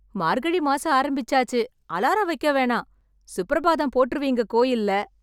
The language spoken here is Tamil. மார்கழி மாசம் ஆரம்பிச்சாச்சு, அலாரம் வைக்க வேணாம், சுப்ரபாதம் போட்ருவீங்க கோயில்ல!